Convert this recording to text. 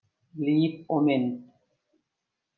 Líf og mynd